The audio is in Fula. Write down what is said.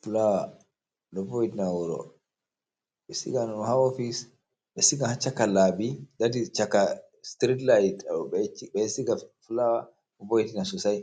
Flawa, ɗo vo'itina wuro, ɓe sigan ɗum haa ofis, ɓe siga ha caka laabi, dat is caka striit lait, ɓe siga flower ɗo vo'itina sosai.